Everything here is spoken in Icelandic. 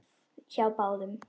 Hjá báðum.